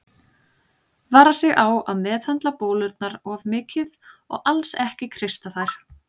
Vara sig á að meðhöndla bólurnar of mikið og alls ekki kreista þær.